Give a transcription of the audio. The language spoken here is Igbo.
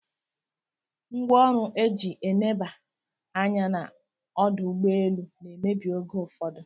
Ngwaọru eji eneba anya na ọdọugbeelu na emebi oge ụfụdu